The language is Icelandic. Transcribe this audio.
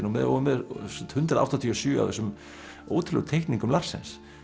og með og með hundrað áttatíu og sjö af þessum ótrúlegu teikningum Larsens